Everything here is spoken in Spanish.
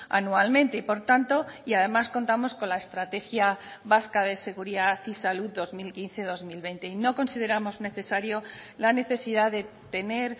anualmente y por tanto y además contamos con la estrategia vasca de seguridad y salud dos mil quince dos mil veinte y no consideramos necesario la necesidad de tener